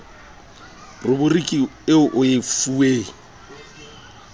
ruburiki eo o e fuweng